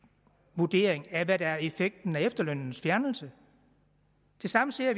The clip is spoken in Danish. vurdering af hvad der er effekten af efterlønnens fjernelse det samme siger